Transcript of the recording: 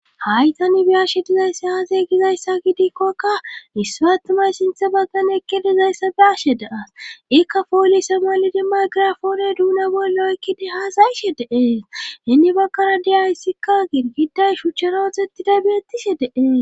Haytani biyashe dizaysse haazay gizayssa gidikkokka mispatumay sinthe bakane ekke dizayssa biashe deas ikka poolise malidi may girafoone duuna bollo ykkidi haasayishe deeeshinni bakkara di ayssikka girgiday shuchcharotxettiday beettishe deee.